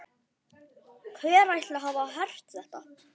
Hver ætli hafi hert þetta?